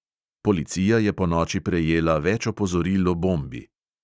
Policija je ponoči prejela več opozoril o bombi.